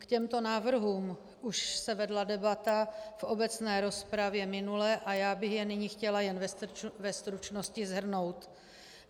K těmto návrhům už se vedla debata v obecné rozpravě minule a já bych je nyní chtěla jen ve stručnosti shrnout.